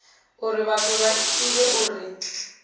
uri vhathu vha ivhe uri